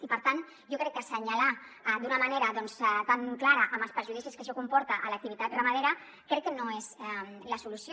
i per tant assenyalar d’una manera tan clara amb els perjudicis que això comporta l’activitat ramadera crec que no és la solució